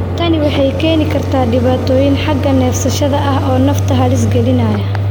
Tani waxay keeni kartaa dhibaatooyin xagga neefsashada ah oo nafta halis gelinaya.